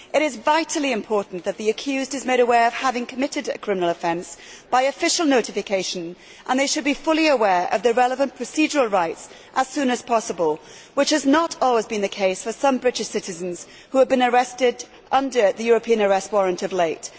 It is vitally important that the accused is made aware of having committed a criminal offence by official notification, and they should be fully aware of the relevant procedural rights as soon as possible, which has not always been the case for some British citizens who have been arrested under the European arrest warrant of late.